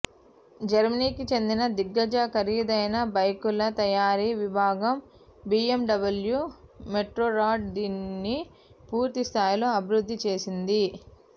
జర్మనీకి చెందిన దిగ్గజ ఖరీదైన బైకుల తయారీ విభాగం బిఎమ్డబ్ల్యూ మోటోర్రాడ్ దీనిని పూర్తి స్థాయిలో అభివృద్ది చేసింది